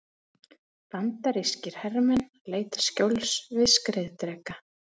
Bandarískir hermenn leita skjóls við skriðdreka.